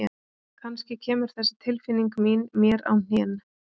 Kannski kemur þessi tilfinning mín mér á hnén.